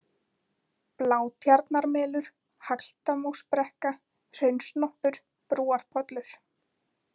Blátjarnarmelur, Hagldamósbrekka, Hraunsnoppur, Brúarpollur